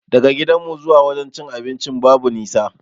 Daga gidanmu zuwa wajen cin abincin babu nisa